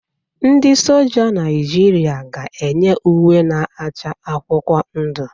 Ndị Soja Naịjirịa ga-eyi uwe na-acha akwụkwọ ndụ.